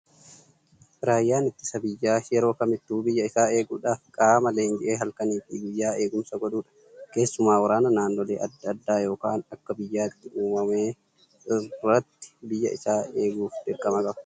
Raayyaan ittisa biyyaa yeroo kamittuu biyya isaa eeguudhaaf qaama leenji'ee halkanii fi guyyaa eegumsa godhudha. Keessumaa waraana naannolee adda addaa yookaan akka biyyaatti uumame irratti biyya isaa eeguuf dirqama qaba.